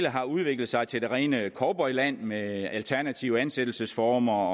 har udviklet sig til det rene cowboyland med alternative ansættelsesformer